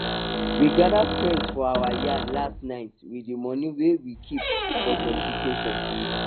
we gather friends for our yard last night with the money wey we keep for jollification